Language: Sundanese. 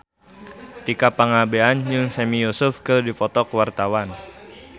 Tika Pangabean jeung Sami Yusuf keur dipoto ku wartawan